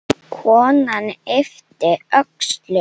Konan yppti öxlum.